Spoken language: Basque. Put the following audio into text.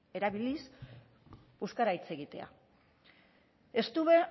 erabiliz euskara hitz egitea estuve